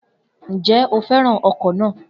Njẹ o fẹràn ọkọ na?